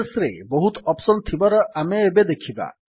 psରେ ବହୁତ ଅପ୍ସନ୍ ଥିବାର ଆମେ ଏବେ ଦେଖିବା